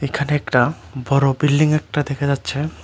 এখানে একটা বড়ো বিল্ডিং একটা দেখা যাচ্ছে।